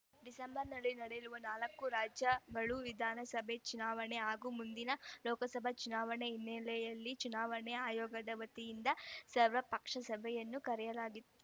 ಡಿಸೆಂಬರ್‌ನಲ್ಲಿ ನಡೆಯಲಿರುವ ನಾಲ್ಕು ರಾಜ್ಯ ಗಳು ವಿಧಾನಸಭೆ ಚುನಾವಣೆ ಹಾಗೂ ಮುಂದಿನ ಲೋಕಸಭೆ ಚುನಾವಣೆಯ ಹಿನ್ನೆಲೆಯಲ್ಲಿ ಚುನಾವಣಾ ಆಯೋಗದ ವತಿಯಿಂದ ಸರ್ವಪಕ್ಷ ಸಭೆಯನ್ನು ಕರೆಯಲಾಗಿತ್ತು